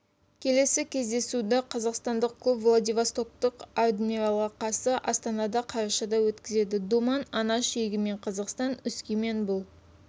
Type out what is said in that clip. келесі кездесуді қазақстандық клуб владивостоктық адмиралға қарсы астанада қарашада өткізеді думан анаш егемен қазақстан өскемен бұл